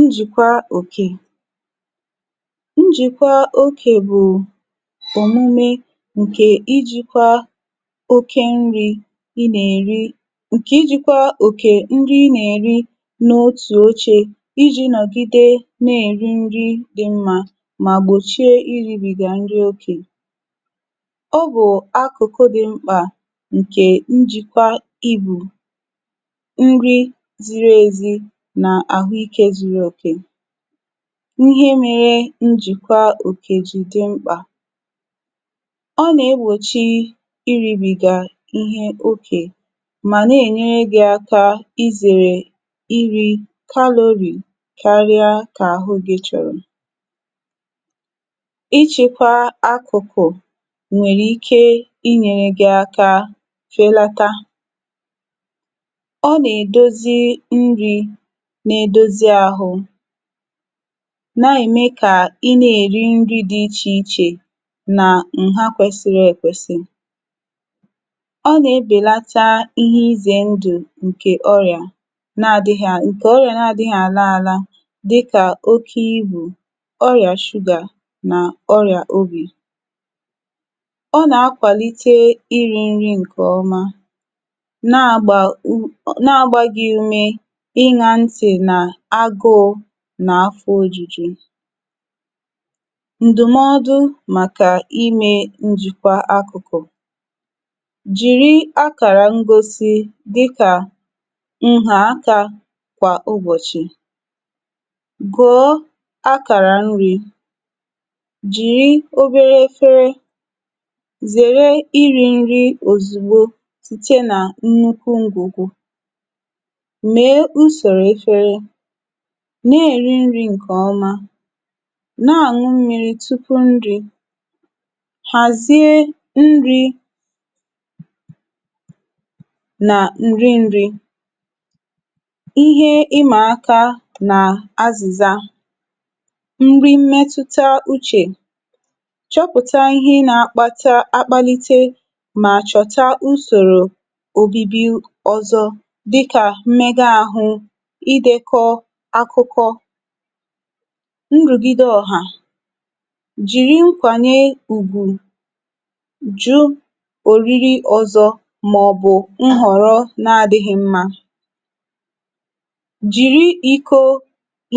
Njikwa Òkè. Njikwa óke bụ omume nke ijikwa óké nri ị na-eri nke ijikwa òkè n'oru óche iji nọgide na-eri nri dị mma ma gbochie iribiga nri ókè. Ọ bụ akụkụ dị mkpa nke njikwa oké íbù, nri ziri ezi na ahụike zuru okè. Ihe mere njikwa Òkè ji dị mkpa. Ọ na-egbochi iribiga ihe ókè ma na-enyere gị aka izere iri calorie karịa ka ahụ gị chọrọ. Ịchịkwa akụkụ nwere ike inyere gị aka felata. Ọ na-edozi nri na-edozi ahụ na-eme ka ị na-eri nri dị iche iche na nhá kwesịrị ekwesị. Ọ na-ebelata ihe ize ndụ nke ọrịa na-adịghị nke ọrịa na-adịghị ala ala dị ka oké íbù, ọrịa sugar na ọrịa obi. Ọ na-akwalite iri nri nke ọma na-agba u na-agba gị ume ịṅa ntị n'agụụ na afọ ojuju. Ndụmọdụ maka ime njikwa akụkụ. Jiri akara ngosi dịka nhaaka kwa ụbọchị. Gụọ akara nri. Jiri obere efere. Zere iri nri ozugbo site na nnukwu ngwùgwù. Mee usoro efere. Na-eri nri nke ọma. Na-aṅụ mmiri tupu nri. Hazie nri na nri nri. Ihe Ịma aka na Ázịzá. Nri Mmetụta Uche. Chọpụta ihe na-akpata akpalite ma chọta usoro obibi ọzọ dị ka mmega ahụ, idekọ́ akụkọ, nrugide ọ̀hà. Jiri nkwanye ùgwù, jụ́ oriri ọzọ maọbụ nhọrọ na-adịghị mma, jiri ìkó